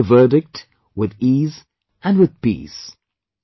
They accepted the verdict with ease and with peace